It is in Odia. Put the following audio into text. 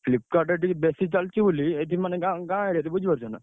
Flipkart ରେ ଟିକେ ବେଶୀ ଚାଲଚି ବୋଲି ଏଠି ମାନେ ଗାଁ ଗାଁ ଆଡେ ବୁଝିପାରୁଛ ନା!